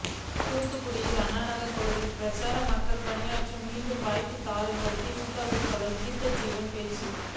தூத்துக்குடி அண்ணாநகர் பகுதியில் பிரசாரம் மக்கள் பணியாற்ற மீண்டும் வாய்ப்பு தாருங்கள் திமுக வேட்பாளர் கீதாஜீவன் பேச்சு